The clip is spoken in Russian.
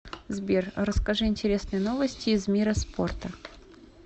сбер расскажи интересные новости из мира спорта